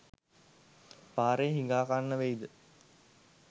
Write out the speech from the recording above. පාරේ හිඟා කන්න වෙයි ද?